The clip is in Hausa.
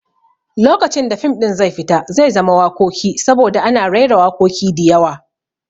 Lokacin da fim ɗin zai fita zai zama wakoki saboda ana raira wakoki diyawa